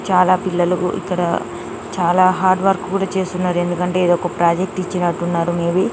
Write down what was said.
చాలా పిల్లలకు ఇక్కడ చాలా హార్డ్ వర్క్ కూడా చేస్తున్నారు ఎందుకంటే ఇది ఒక ప్రాజెక్ట్ ఇచ్చినట్టున్నారు మేబి